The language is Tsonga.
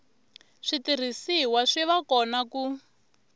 switirhisiwa swi va kona ku